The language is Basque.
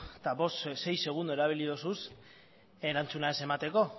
eta bost sei segundo erabili dozuz erantzuna ez emateko